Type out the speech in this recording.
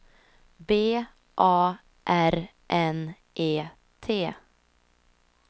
B A R N E T